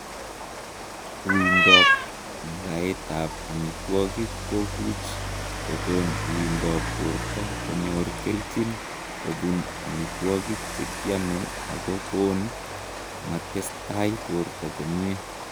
Uindoop ngaetap amitwogik kokuuch kokon uindoop portoo konyor kelchin kobun amiwagik chekiamee ako koon matestai portoo komie